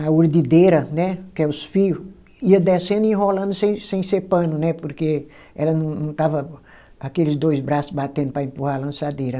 a urdideira, né, que é os fio, ia descendo e enrolando sem sem ser pano né, porque ela não não estava aqueles dois braço batendo para empurrar a lançadeira.